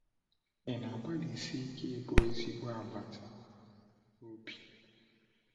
Ị na-agbalịsi ike ịbụ ezigbo agbata obi?’